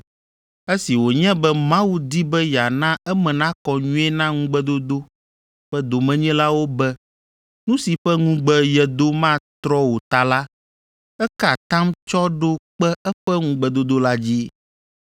Esi wònye be Mawu di be yeana eme nakɔ nyuie na ŋugbedodo ƒe domenyilawo be nu si ƒe ŋugbe yedo matrɔ o ta la, eka atam tsɔ ɖo kpe eƒe ŋugbedodo la dzi.